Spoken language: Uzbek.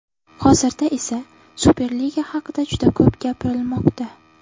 Hozirda esa Superliga haqida juda ko‘p gapirilmoqda.